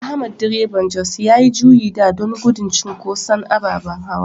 Ahmad Direban Bus yayi juyi da don gudun cinkoson ababen hawa.